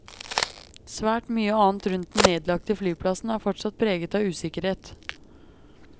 Svært mye annet rundt den nedlagte flyplassen er fortsatt preget av usikkerhet.